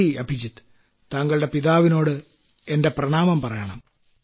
നന്ദി അഭിജിത്ത് താങ്കളുടെ പിതാവിനോട് എന്റെ പ്രണാമം പറയണം